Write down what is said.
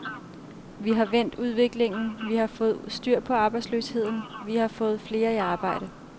Vi har vendt udviklingen, vi har fået styr på arbejdsløsheden, vi har fået flere i arbejde.